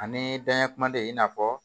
Ani danya kuma de i n'a fɔ